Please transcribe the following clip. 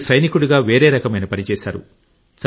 మీరు సైనికుడిగా వేరే రకమైన పని చేశారు